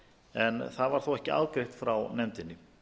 en það var þó ekki afgreitt frá nefndinni